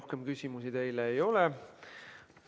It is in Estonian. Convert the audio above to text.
Rohkem küsimusi teile ei ole.